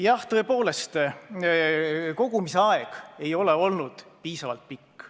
Jah, tõepoolest, kogumise aeg ei ole olnud piisavalt pikk.